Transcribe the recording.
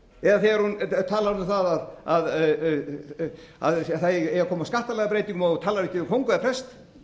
hrifinn af því eða þegar hún talar um það að það eigi að koma á skattalagabreytingum og hún talar ekki við kóng eða prest